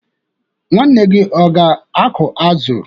Nwanne gị aga-akụ azụ?